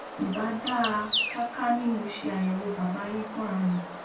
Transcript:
ì bá dáa ká ká ní mo ṣe àyẹwò bàbá yín fúnra mi